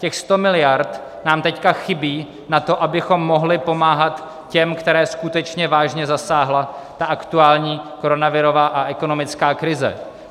Těch sto miliard nám teď chybí na to, abychom mohli pomáhat těm, které skutečně vážně zasáhla ta aktuální koronavirová a ekonomická krize.